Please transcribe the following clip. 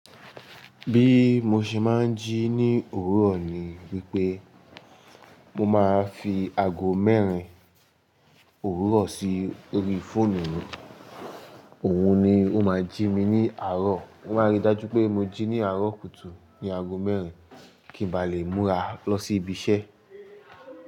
Bí mo ṣe máa ń jí ní òwúrọ̀ ni wípé mo máa ń fi ago mẹ́rin òwúrọ̀ sí orí fóònù mi. Òun ni ó máa ń jí mi ní àárọ̀. Ó máa rí i dájú pé mo jí ní àárọ̀ kùtù ní ago mẹ́rin kí ń ba lè múra lọ sí ibi iṣẹ́.